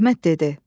Əhməd dedi: